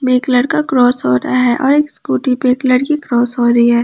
एक लड़का क्रॉस हो रहा है और एक स्कूटी पे एक लड़की क्रॉस हो रही है।